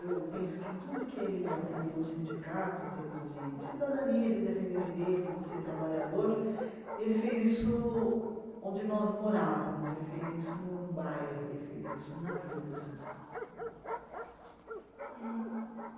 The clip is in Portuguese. Eu penso que tudo que ele aprendeu no sindicato, em termos de de cidadania, de defender direitos, de ser trabalhador, ele fez isso onde nós morávamos, ele fez isso no no bairro, ele fez isso na vida assim. eh